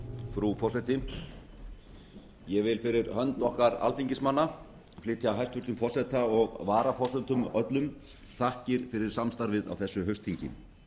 frú forseti ég vil fyrir hönd okkar alþingismanna flytja hæstvirts forseta og varaforsetum öllum þakkir fyrir samstarfið á þessu haustþingi